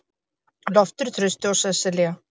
Loftur, Trausti og Sesselía.